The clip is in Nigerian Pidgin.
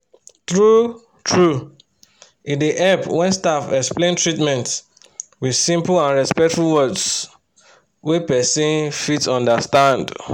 true-true e dey help when staff explain treatment with simple and respectful words wey person fit understand